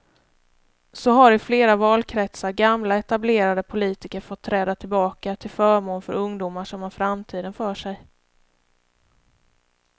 Så har i flera valkretsar gamla etablerade politiker fått träda tillbaka till förmån för ungdomar som har framtiden för sig.